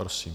Prosím.